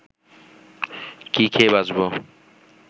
কি খেয়ে বাঁচব